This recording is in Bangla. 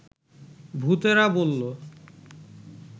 ভূতেরা বলল